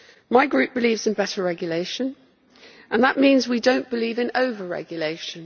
My group believes in better regulation, and that means we do not believe in over-regulation.